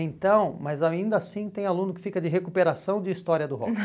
Então, mas ainda assim tem aluno que fica de recuperação de história do rock.